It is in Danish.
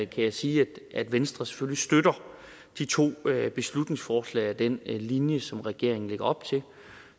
kan jeg sige at venstre selvfølgelig støtter de to beslutningsforslag og den linje som regeringen lægger op til og